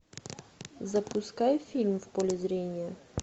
запускай фильм в поле зрения